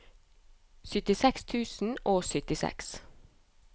syttiseks tusen og syttiseks